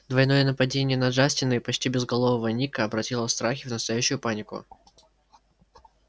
двойное нападение на джастина и почти безголового ника обратило страхи в настоящую панику